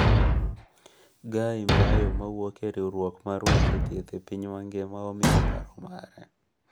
Guy Mbayo mawuok e riwruok mar weche thieth e piny mangima omiyo paro mare.